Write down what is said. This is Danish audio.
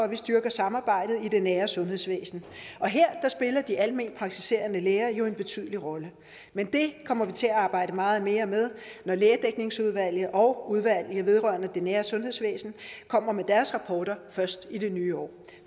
vi styrker samarbejdet i det nære sundhedsvæsen og her spiller de almenpraktiserende læger en betydelig rolle men det kommer vi til at arbejde meget mere med når lægedækningsudvalget og udvalget om det nære sundhedsvæsen kommer med deres rapporter først i det nye år